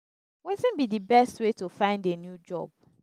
wetin be di best way to find a new job?